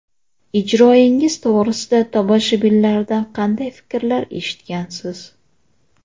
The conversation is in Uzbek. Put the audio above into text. Ijroingiz to‘g‘risida tomoshabinlardan qanday fikrlar eshitgansiz?